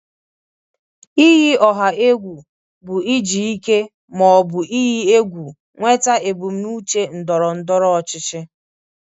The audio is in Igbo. Iyi ọha egwu bụ iji ike ma ọ bụ iyi egwu nweta ebumnuche ndọrọ ndọrọ ọchịchị.